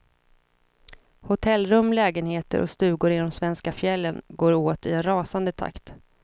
Hotellrum, lägenheter och stugor i de svenska fjällen går åt i en rasande takt.